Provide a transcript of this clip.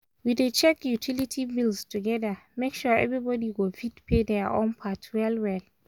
we dey check utility bills together make sure everybody go fit pay their own part well well.